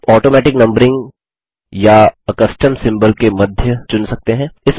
आप automatic numbering या आ कस्टम सिम्बोल के मध्य चुन सकते हैं